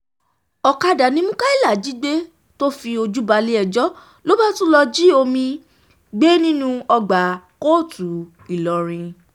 ọ̀kadà ni mukaila jí gbé tó fi fojú balẹ̀-ẹjọ́ ló bá tún lọ́ọ́ jí omi-ín gbé nínú ọgbà kóòtù ńìlọrin